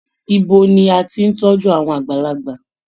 Ibo ni a tí n tọjú àwọn àgbàlagbà?